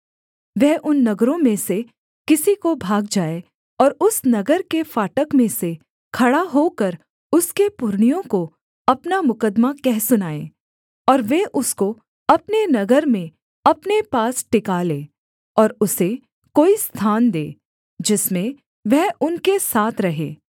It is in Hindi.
वह उन नगरों में से किसी को भाग जाए और उस नगर के फाटक में से खड़ा होकर उसके पुरनियों को अपना मुकद्दमा कह सुनाए और वे उसको अपने नगर में अपने पास टिका लें और उसे कोई स्थान दें जिसमें वह उनके साथ रहे